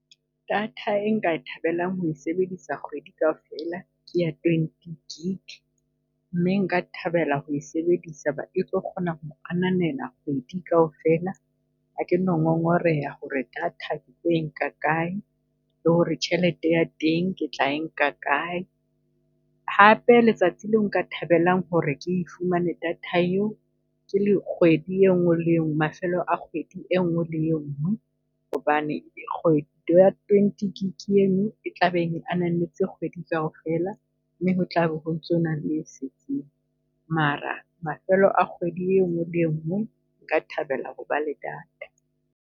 Data e nka e thabelang ho e sebedisa kgwedi kaofela ke ya twenty gig, mme nka thabela ho e sebedisa e tlo kgona ho ananela kgwedi kaofela. Ha ke no ngongoreha ho re data ketlo e nka kae, le ho re tjhelete ya teng ke tla e nka kae? Hape letsatsi leo nka thabelang ho re ke e fumane data eo ke le kgwedi engwe le enngwe, mafelo a kgwedi e nngwe le e nngwe. Hobane twenty gig eno e tlabe e ananetse kgwedi kaofela, mme ho tlabe ho ntsona le e setseng. Mara mafelo a kgwedi engwe le e nngwe, nka thabela ho ba le data.